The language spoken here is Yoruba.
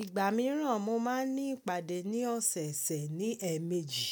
Ìgbà mìíràn mo máa ń ní ìpàdé ní ọ̀sẹ̀ẹ̀sẹ̀ ní ẹ̀ẹ̀mejì.